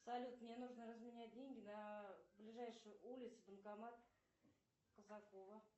салют мне нужно разменять деньги на ближайшей улице банкомат казакова